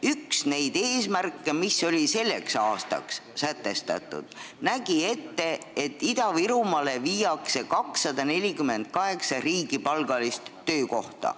Üks eesmärke, mis on selleks aastaks sätestatud, näeb ette, et Ida-Virumaale viiakse 248 riigipalgalist töökohta.